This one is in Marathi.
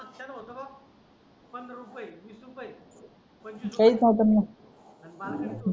मागच्याला होतं पंधरा रुपये वीस रुपये पंचवीस रुपये